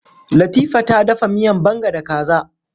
Latifa ta dafa miyan banga da kaza.